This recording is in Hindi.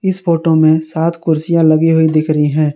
इस फोटो में सात कुर्सियां लगी हुई दिख रही है।